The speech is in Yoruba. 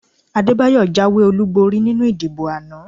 Adébáyọ̀ jáwé olúborí nínú ìdìbò àná